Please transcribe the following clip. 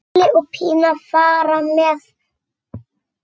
Palli og Pína fara með.